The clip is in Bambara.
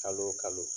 Kalo o kalo